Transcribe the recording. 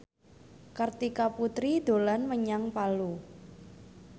Kartika Putri dolan menyang Palu